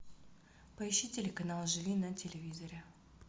поищи телеканал живи на телевизоре